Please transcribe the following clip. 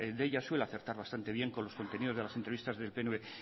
deia suele acertar bastante bien con los contenidos de las entrevistas del pnv